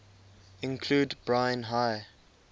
include brine high